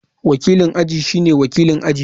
Wakilin aji shine wakilin aji.